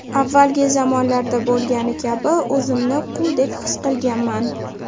Avvalgi zamonlarda bo‘lgani kabi o‘zimni quldek his qilganman.